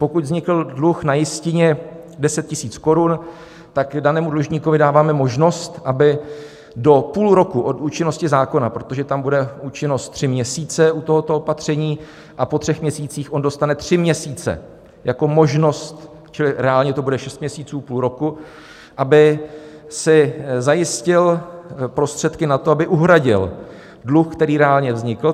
Pokud vznikl dluh na jistině 10 000 korun, tak danému dlužníkovi dáváme možnost, aby do půl roku od účinnosti zákona, protože tam bude účinnost tři měsíce u tohoto opatření, a po třech měsících on dostane tři měsíce jako možnost, čili reálně to bude šest měsíců, půl roku, aby si zajistil prostředky na to, aby uhradil dluh, který reálně vznikl.